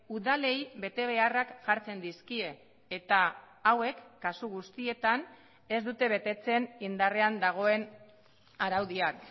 udalei betebeharrak jartzen dizkie eta hauek kasu guztietan ez dute betetzen indarrean dagoen araudiak